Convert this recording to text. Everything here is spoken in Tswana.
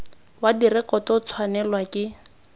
wa direkoto o tshwanelwa ke